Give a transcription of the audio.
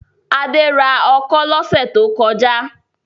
Adé ra ọkọ́ lọ́sẹ̀ tó kọjá?